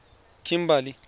kimberley